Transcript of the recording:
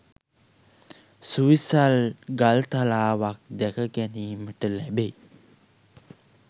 සුවිසල් ගල්තලාවක් දැක ගැනීමට ලැබෙයි